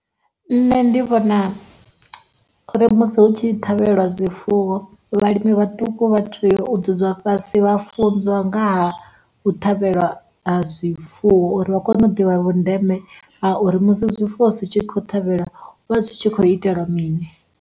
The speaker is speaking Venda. Nṋe ndi vhona uri musi hu tshi ṱhavheliwa zwifuwo, vhalimi vhaṱuku vha tea u dzwudzwa fhasi vha funziwa ngaha u ṱhavhelwa ha zwifuwo uri vha kone u ḓivha vhundeme ha uri musi zwifuwo zwi tshi khou ṱhavhelwa hu vha hu tshi khou iteliwa mini.